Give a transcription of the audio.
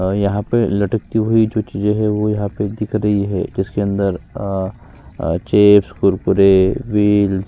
और यहाँ पे लटकती हुई जो चीजे है वो यहाँ पे दिख रही है अ जिसके अंदर चिप्स कुरकुरे--